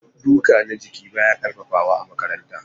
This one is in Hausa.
Duka na jiki baya ƙarfafawa a makarantara.